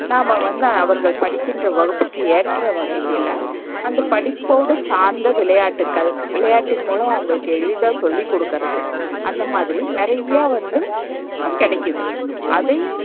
நாம்ம வந்து அவர்கள் படிக்கின்ற வகுப்புக்கு ஏற்ற வகையில அந்த படிப்போடு சார்ந்த விளையாட்டுக்கள் விளையாட்டின் மூலம் அவங்களுக்கு எளிதா சொல்லிக்குடுக்குறது, அந்தமாதிரி நறைய வந்து கெடைக்குது. அதையும்,